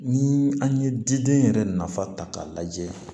Ni an ye diden yɛrɛ nafa ta k'a lajɛ